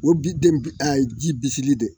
O bi den a ye ji bisili de